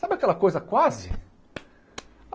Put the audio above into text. Sabe aquela coisa quase?